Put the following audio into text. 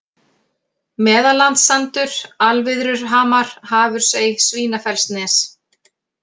Meðallandssandur, Alviðruhamar, Hafursey, Svínafellsnes